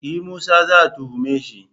E! Musa za a tuhume shi.